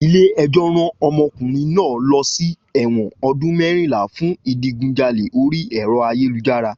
Ilé ẹjọ́ rán omokunrin náà lọ sí ẹ̀wọ̀n ọdún mẹ́rìnlá fún ìdigunjalè orí ẹ̀rọ ayélujára